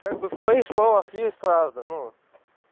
как бы в твоих словах есть правда ну